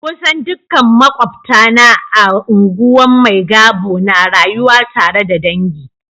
Kusan dukkan makwabtana a unguwan Maigabo na rayuwa tare da dangi.